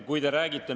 Kui te räägite …